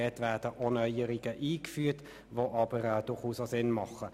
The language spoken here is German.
Dort werden also durchaus sinnvolle Neuerungen eingeführt.